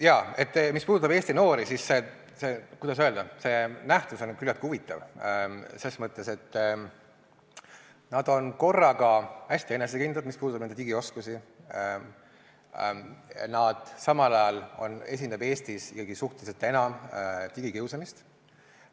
Jaa, mis puudutab Eesti noori, siis, kuidas öelda, see nähtus on küllaltki huvitav, selles mõttes, et nad on korraga hästi enesekindlad, mis puudutab nende digioskusi, samal ajal esineb Eestis suhteliselt enam digikiusamist.